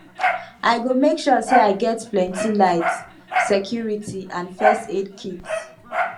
i go make sure say i get plenty light security and first aid kit